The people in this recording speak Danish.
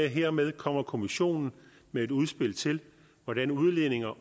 hermed kommer kommissionen med et udspil til hvordan udledninger